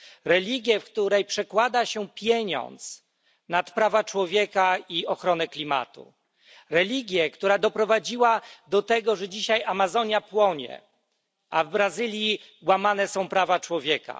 Religię, w której przedkłada się pieniądz nad prawa człowieka i ochronę klimatu, religię, która doprowadziła do tego, że dzisiaj Amazonia płonie, a w Brazylii łamane są prawa człowieka.